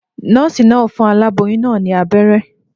Nòòsì naa n fun aláboyún naa ní abéré